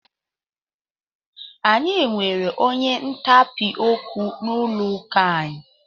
Anyị nwere onye ntapị okwu n'ụlọ ụka anyị.